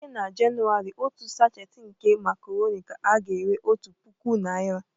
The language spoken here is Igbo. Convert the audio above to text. Site na Jenụwarị otu sachet nke makaroni ka a ga-ere otu puku naira